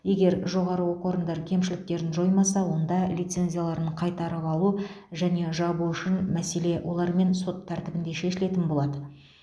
егер жоғары оқу орындары кемшіліктерін жоймаса онда лицензияларын қайтарып алу және жабу үшін мәселе олармен сот тәртібінде шешілетін болады